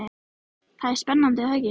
Það er spennandi er það ekki?